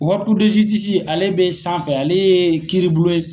ale be sanfɛ , ale ye kiiribulon ye